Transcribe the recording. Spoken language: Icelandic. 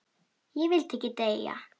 Ég vildi ekki deyja.